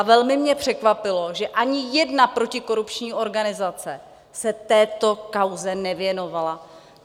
A velmi mě překvapilo, že ani jedna protikorupční organizace se této kauze nevěnovala.